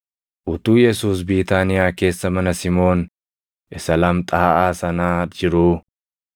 Utuu Yesuus Biitaaniyaa keessa mana Simoon isa lamxaaʼaa sanaa jiruu,